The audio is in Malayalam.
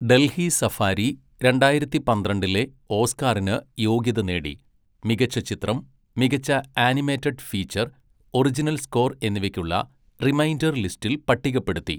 ഡൽഹി സഫാരി രണ്ടായിരത്തി പന്ത്രണ്ടിലെ ഓസ്കാറിന് യോഗ്യത നേടി, മികച്ച ചിത്രം, മികച്ച ആനിമേറ്റഡ് ഫീച്ചർ, ഒറിജിനൽ സ്കോർ എന്നിവയ്ക്കുള്ള റിമൈൻഡർ ലിസ്റ്റിൽ പട്ടികപ്പെടുത്തി.